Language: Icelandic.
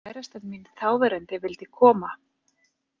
Kærastan mín þáverandi vildi koma.